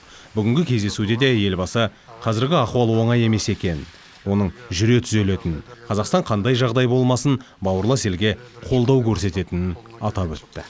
бүгінгі кездесуде де елбасы қазіргі ахуал оңай емес екенін оның жүре түзелетінін қазақстан қандай жағдай болмасын бауырлас елге қолдау көрсететінін атап өтті